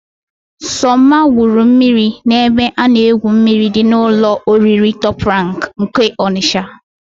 Sọmma gwuru mmiri n'ebe a na-egwu mmiri dị n'ụlọ oriri Tọp Rank nke Ọnịsha.